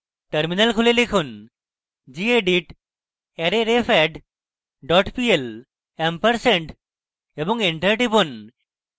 terminal খুলে লিখুন: gedit arrayrefadd dot pl ampersand এবং enter টিপুন